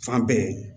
Fan bɛɛ